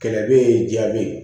Kɛlɛ bɛ yen jaa bɛ ye